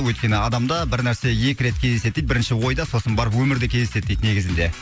өйткені адамда бір нәрсе екі рет кездеседі дейді бірінші ойда сосын барып өмірде кездеседі дейді негізінде